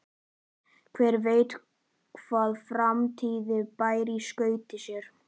Hver veit hvað framtíðin ber í skauti sér?